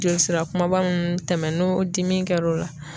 Joli sira kumaba nunnu tɛmɛ n'o dimi kɛro la